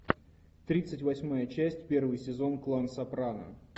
тридцать восьмая часть первый сезон клан сопрано